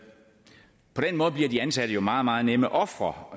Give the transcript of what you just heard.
måde bliver de ansatte meget meget nemme ofre